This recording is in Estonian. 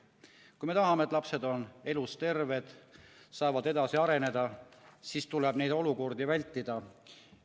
Kui me tahame, et lapsed on elus-terved, saavad edasi areneda, siis tuleb neid olukordi vältida.